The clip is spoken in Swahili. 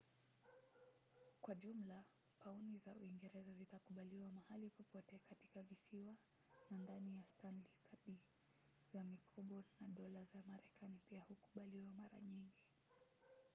kwa jumla pauni za uingereza zitakubaliwa mahali popote katika visiwa na ndani ya stanley kadi za mikopo na dola za marekani pia hukubaliwa mara nyingi